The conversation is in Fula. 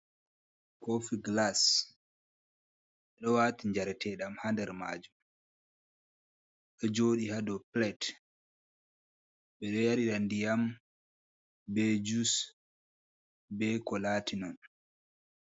Koofi gilas ɗo waati jarete ɗam haader maajum ɗo jooɗii haado pilat ɓe ɗo yarira ndiyam, be jus, be ko laatinon.